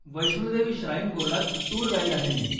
Vaishno Devi shrine बोर्डात tour guide आहे मी.